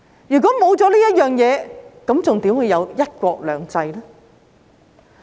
如果沒有這些，又怎會有"一國兩制"呢？